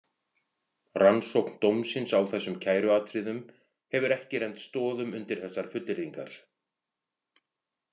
Rannsókn dómsins á þessum kæruatriðum hefur ekki rennt stoðum undir þessar fullyrðingar.